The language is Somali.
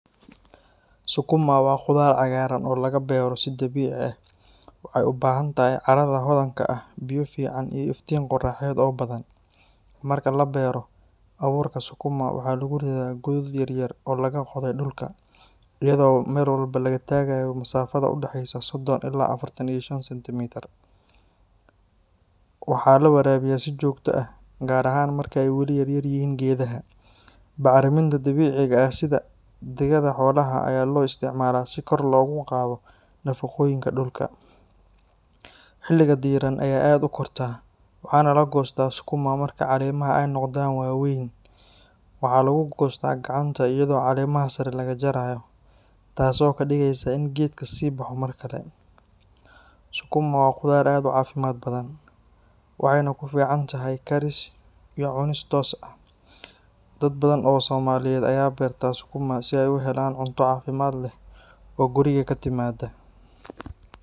Sukuma waa khudaar cagaaran oo laga beero si dabiici ah. Waxay u baahan tahay carrada hodanka ah, biyo fiican, iyo iftiin qorraxeed oo badan. Marka la beero, abuurka sukuma waxa lagu ridaa godad yar yar oo laga qoday dhulka, iyadoo meel walba laga tagayo masaafada u dhaxaysa sodhon ilaa afartan iyo shan sintimitar Waxaa la waraabiyaa si joogto ah, gaar ahaan marka ay weli yaryihiin geedaha. Bacriminta dabiiciga ah sida digada xoolaha ayaa loo isticmaalaa si kor loogu qaado nafaqooyinka dhulka. Xilliga diirran ayay aad u kortaa, waxaana la goostaa sukuma marka caleemaha ay noqdaan waaweyn. Waxaa lagu goostaa gacanta iyadoo caleemaha sare laga jaro, taasoo ka dhigaysa in geedka sii baxo mar kale. Sukuma waa khudaar aad u caafimaad badan, waxayna ku fiican tahay karis iyo cunis toos ah. Dad badan oo Soomaaliyeed ayaa beerta sukuma si ay u helaan cunto caafimaad leh oo guriga ka timaada.